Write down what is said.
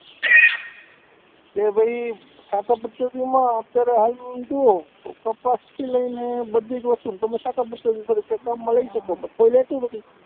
કે ભાઈ, સાંઠા પદ્ધતિમાં અત્યારે હાલ જુઓ તો કપાસથી લઈને બધી જ વસ્તુઓ સાંઠા પદ્ધતિ તરીકે તમે કામમાં લઇ શકો પણ કોઈ લેતું નથી,